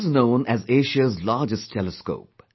This is known as Asia's largest telescope